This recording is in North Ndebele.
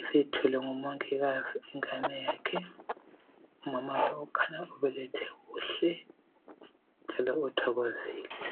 ,isithwelwe ngumongikazi ingane yakhe. Umama lo khanya ubelethe kuhle njalo uthokozile,.